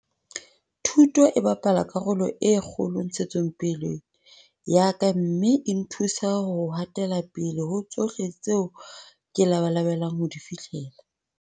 Thuto e bapala karolo e kgolo ntshetsopeleng ya ka mme e nthusa ho ha tela pele ho tsohle tseo ke labalabelang ho di fihlella.